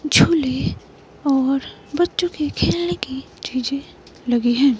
झूले और बच्चों के खेलने की चीजें लगे हैं।